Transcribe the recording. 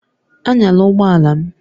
Anyala ụgbọ ala m!